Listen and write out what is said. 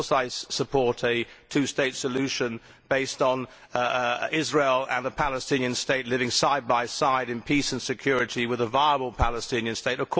Of course I support a two state solution based on Israel and a Palestinian State living side by side in peace and security, with a viable Palestinian State.